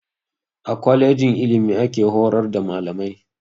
A kwalejin ilimi ake horar da malamai